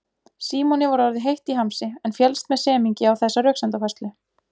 Símoni var orðið heitt í hamsi en féllst með semingi á þessa röksemdafærslu.